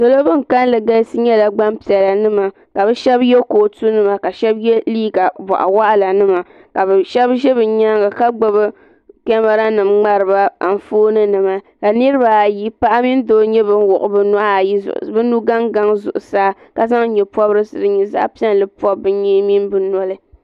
Salo ban kalli galisi nyɛla gbampiɛla nima ka bɛ sheba sheba ye liiga boɣu waɣala nima ka sheba ʒɛ bɛ nyaanga ka gbibi kamara nima ni fooni nima ka niriba ayi paɣa mini doo wuɣi bɛ nugaŋ zuɣusaa ka zaŋ nyɛpobrisi m pobi bɛ nyee ni bɛ noli .